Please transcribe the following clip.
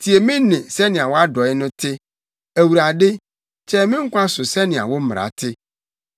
Tie me nne sɛnea wʼadɔe no te; Awurade, kyɛe me nkwa so sɛnea wo mmara te.